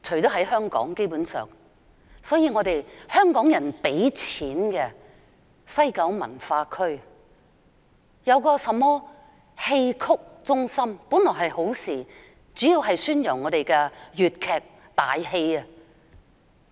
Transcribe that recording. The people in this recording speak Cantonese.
由香港人出錢興建的西九文化區戲曲中心，本來是好事，主要是宣揚粵劇。